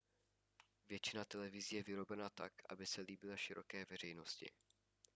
většina televizí je vyrobena tak aby se líbila široké veřejnosti